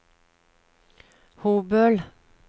Hobøl